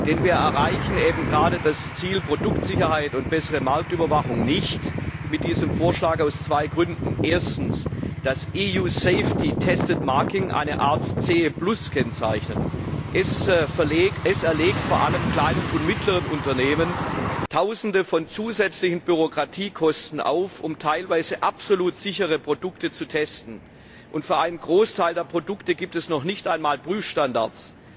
Denn wir erreichen eben gerade das Ziel Produktsicherheit und bessere Marktüberwachung mit diesem Vorschlag nicht. Aus zwei Gründen Erstens das EU safety tested marking, eine Art CE Kennzeichnung, die vor allem kleinen und mittleren Unternehmen Tausende von zusätzlichen Bürokratiekosten auferlegt, um teilweise absolut sichere Produkte zu testen. Für einen Großteil der Produkte gibt es noch nicht einmal Prüfstandards.